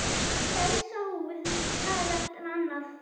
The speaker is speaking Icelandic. Gæsahúð hvað eftir annað